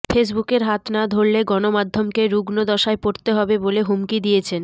ফেসবুকের হাত না ধরলে গণমাধ্যমকে রুগ্ণ দশায় পড়তে হবে বলে হুমকি দিয়েছেন